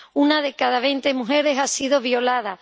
una de cada veinte mujeres ha sido violada